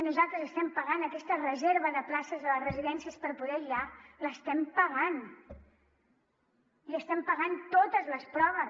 nosaltres estem pagant aquesta reserva de places a les residències per poder aïllar l’estem pagant i estem pagant totes les proves